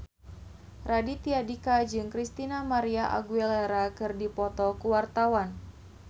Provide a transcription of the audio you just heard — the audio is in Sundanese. Raditya Dika jeung Christina María Aguilera keur dipoto ku wartawan